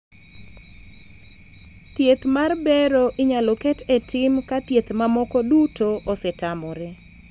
thieth mar bero inyalo ket e tim ka thieth mamoko duto osetamore